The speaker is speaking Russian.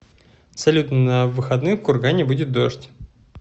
салют на выходных в кургане будет дождь